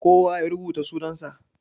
Kowa ya rubuta sunan sa.